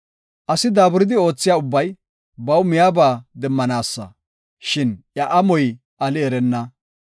Asi daaburidi oothiya ubbay baw miyaba demmanaasa; shin iya amoy ali erenna.